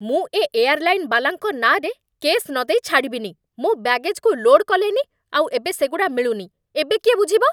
ମୁଁ ଏ ଏୟାର୍‌ଲାଇନ୍ ବାଲାଙ୍କ ନାଁରେ କେସ୍ ନଦେଇ ଛାଡ଼ିବିନି, ମୋ' ବ୍ୟାଗେଜ୍‌କୁ ଲୋଡ୍ କଲେନି, ଆଉ ଏବେ ସେଗୁଡ଼ା ମିଳୁନି, ଏବେ କିଏ ବୁଝିବ!